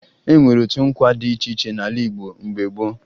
E nwere otu nkwa dị iche iche n'ala Igbo mgbe gboo